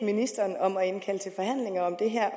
ministeren om at indkalde til forhandlinger om det her